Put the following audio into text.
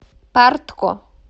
партко